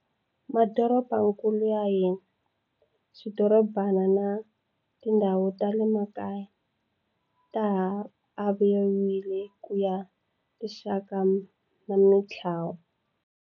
Madorobakulu ya hina, swidorobana na tindhawu tale makaya ta ha aviwile ku ya hi tixaka na mitlawa.